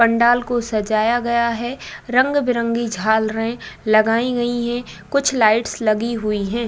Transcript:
पंडाल को सजाया गया है। रंग-बिरंगे झालरे लगाई गई है। कुछ लाइटस लगी हुई हैं।